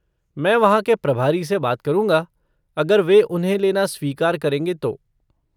मैं वहाँ के प्रभारी से बात करूँगा अगर वे उन्हें लेना स्वीकार करेंगे तो।